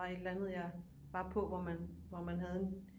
Var et eller andet jeg var på hvor man hvor man havde en